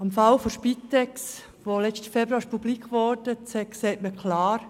Am Fall der Spitex, der letzten Februar publik geworden ist, sieht man klar: